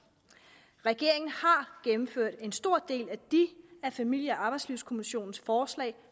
regeringen har gennemført en stor del af de af familie og arbejdslivskommissionens forslag